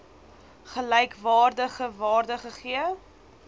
gelykwaardige waarde gegee